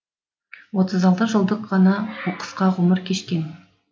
отыз алты жылдық ғана қысқа ғұмыр кешкен